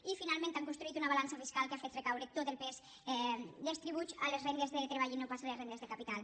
i finalment han construït una balança fiscal que ha fet recaure tot el pes dels tributs a les rendes del treball i no pas a les rendes de capital